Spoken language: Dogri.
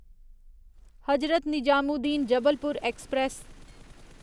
हजरत निजामुद्दीन जबलपुर ऐक्सप्रैस